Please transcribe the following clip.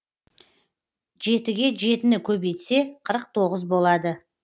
жетіге жетіні көбейтсе қырық тоғыз болады